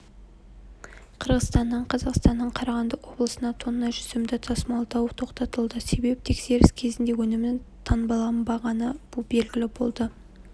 қырғызстаннан қазақстанның қарағанды облысына тонна жүзімді тасымалдау тоқтатылды себеп тексеріс кезінде өнімнің таңбаланбағаны белгілі болды